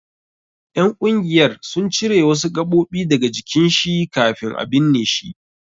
Ƴan ƙungiyar sun cire wasu gaɓoɓi daga jikin shi kafin a binne shi.